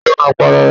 Ta ló máa pa ara ẹ̀.?